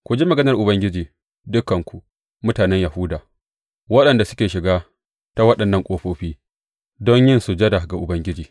Ku ji maganar Ubangiji, dukanku mutanen Yahuda waɗanda suke shiga ta waɗannan ƙofofi don yin sujada ga Ubangiji.